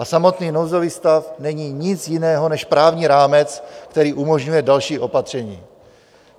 A samotný nouzový stav není nic jiného než právní rámec, který umožňuje další opatření.